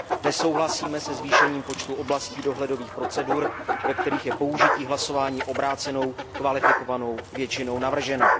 Nesouhlasíme se zvýšením počtu oblastí dohledových procedur, ve kterých je použití hlasování obrácenou kvalifikovanou většinou navrženo.